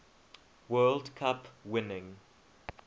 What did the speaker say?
world cup winning